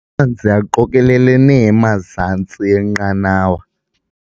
amanzi aqokelelene emazantsi enqanawa.